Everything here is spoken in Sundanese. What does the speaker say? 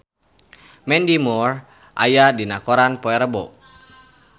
Mandy Moore aya dina koran poe Rebo